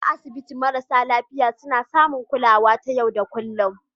A asibitoci, marasa lafiya suna samun kulawa ta yau da kullun